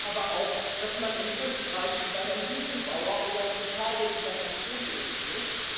Ich weiß aber auch, dass man in Österreich über Herrn Gusenbauer oder in Italien über Herrn Prodi reden muss.